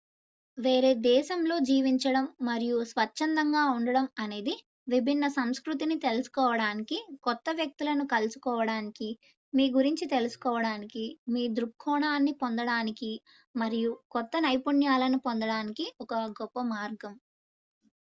వేరే దేశంలో జీవించడం మరియు స్వచ్చంధంగా ఉండటం అనేది విభిన్న సంస్కృతిని తెలుసుకోవడానికి కొత్త వ్యక్తులను కలుసుకోవడానికి మీ గురించి తెలుసుకోవడానికి మీ దృక్కోణాన్ని పొందడానికి మరియు కొత్త నైపుణ్యాలను పొందడానికి ఒక గొప్ప మార్గం